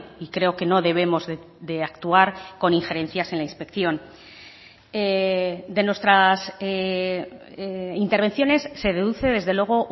y creo que no debemos de actuar con injerencias en la inspección de nuestras intervenciones se deduce desde luego